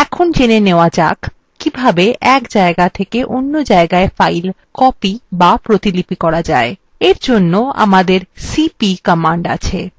এখন জেনে নেওয়া যাক কিভাবে এক জায়গা থেকে অন্য জায়গায় file copy বা প্রতিলিপি করা যায় এর জন্য আমাদের cp command আছে